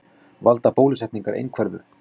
Valda bólusetningar einhverfu?